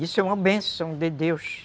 Isso é uma benção de Deus.